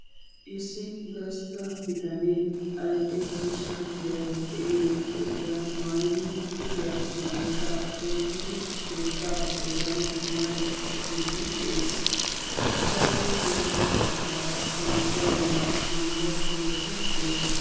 Issi gastta bitane adl'e cishisha koottiya maayiddi keettan misimariya shocciddi de'ees. Ettappe guye bagan harabay dees.